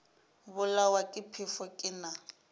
bolawa ke phefo ke na